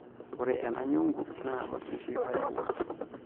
Ore ena nyungu naa olpishi oyawua.